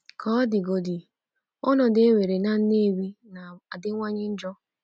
Ka ọ dịgodị, ọnọdụ e nwere na Nnewi na-adịwanye njọ.